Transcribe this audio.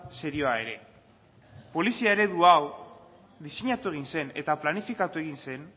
serioa ere polizia eredu hau diseinatu egin zen eta planifikatu egin zen